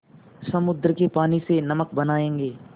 समुद्र के पानी से नमक बनायेंगे